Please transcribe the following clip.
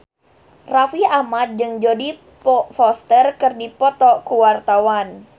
Raffi Ahmad jeung Jodie Foster keur dipoto ku wartawan